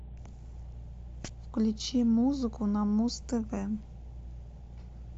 включи музыку на муз тв